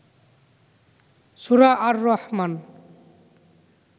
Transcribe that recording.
সুরা আর রহমান